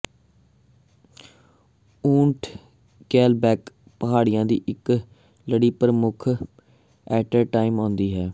ਊਠ ਕੈਲਬੈਕ ਪਹਾੜੀਆਂ ਦੀ ਇੱਕ ਲੜੀ ਪ੍ਰਮੁੱਖ ਏਅਰਟਾਇਮ ਆਉਂਦੀ ਹੈ